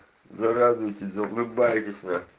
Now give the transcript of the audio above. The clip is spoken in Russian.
зарадуетесь заулыбаетесь нах